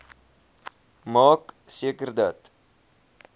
maak seker dat